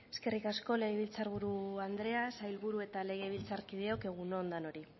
eskerrik asko legebiltzarburu andrea sailburu eta legebiltzarkideok egun on danoi